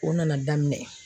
O nana daminɛ